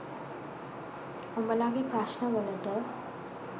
උඹලගෙ ප්‍රශ්න වලට